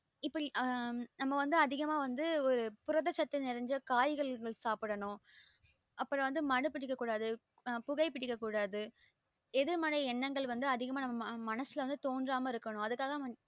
இப்படி ஆஹ் நம்ம வந்து அதிகமா வந்து புரத சத்து நிரஞ்ச காய்கறிகள் வச்சு சாப்புடனும் அப்றம் வந்து மது பிடிக்க கூடாது புகை பிடிக்க கூடாது எதிர் மறை எண்ணங்கள் வந்து அதிகமா நம்ம மனசுல தோன்றாம்மா இருக்கணும் அதுக்காக